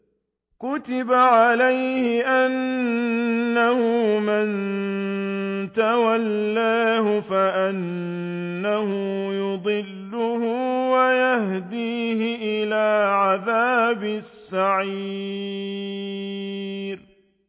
كُتِبَ عَلَيْهِ أَنَّهُ مَن تَوَلَّاهُ فَأَنَّهُ يُضِلُّهُ وَيَهْدِيهِ إِلَىٰ عَذَابِ السَّعِيرِ